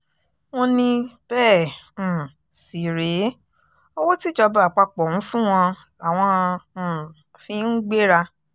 wọ́n ní bẹ́ẹ̀ um sì rèé owó tíjọba àpapọ̀ ń fún àwọn làwọn um fi ń gbéra